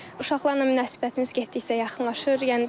Uşaqlarla münasibətimiz getdikcə yaxınlaşır.